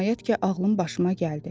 Nəhayət ki, ağlım başıma gəldi.